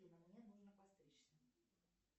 афина мне нужно подстричься